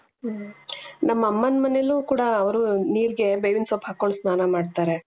ಹ್ಮ್ ನಮ್ಮಮ್ಮನ ಮನೇಲಿ ಕೂಡ ಅವರು ನೀರಿಗೆ ಬೇವಿನ ಸೊಪ್ಪು ಹಾಕೊಂಡ್ ಸ್ನಾನ ಮಾಡ್ತಾರೆ .